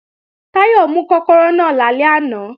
Táyọ̀ mú kọ́kọ́rọ́ náà lálẹ́ àná